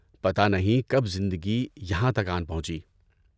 پتہ نہیں کب زندگی یہاں تک آن پہنچی۔